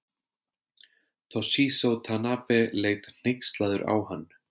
Toshizo Tanabe leit hneykslaður á hann.